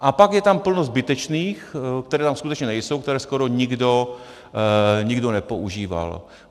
A pak je tam plno zbytečných, které tam skutečně nejsou, které skoro nikdo nepoužíval.